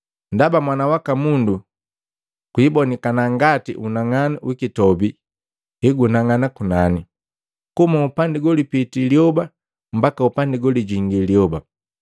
Ndaba Mwana waka Mundu kwiibonika ngati unang'anu wikitobi hegunang'ana kunani, kuhuma upandi golipiti lyoba mbaka upandi golijingii lyoba.”